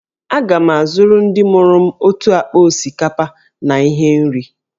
Aga m azụrụ ndị mụrụ m otu akpa osikapa na ihe nri